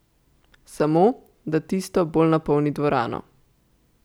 Samo, da tisto bolj napolni dvorano.